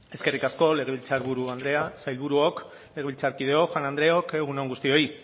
eskerrik asko legebiltzar buru andrea sailburuok legebiltzarkideok jaun andreok egun on guztioi